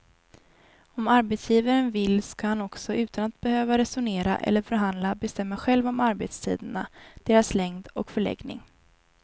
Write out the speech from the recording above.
Om arbetsgivaren vill ska han också utan att behöva resonera eller förhandla bestämma själv om arbetstiderna, deras längd och förläggning.